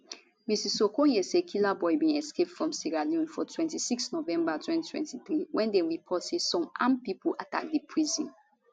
mrs okonye say killaboi bin escape from sierra leone for 26 november 2023 wen dem report say some armed pipo attack di prison